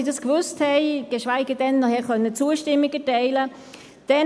Sie haben dieses Geschäft angenommen mit 114 Ja- bei 0 Nein-Stimmen und 0 Enthaltungen.